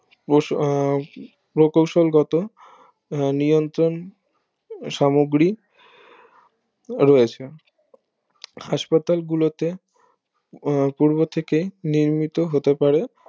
প্রস আহ প্রকূশল গত নিয়ন্ত্রণ সামুগ্রী রয়েছে হাসপাতাল গুলোতে পূর্ব থেকে নির্মিত হতে পারে